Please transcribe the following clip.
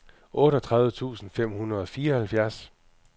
otteogtredive tusind fem hundrede og fireoghalvfjerds